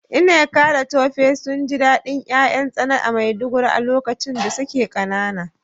Nneka da Tope sun ji dadin ’ya’yan tsana a Maiduguri a lokacin da suke kanana.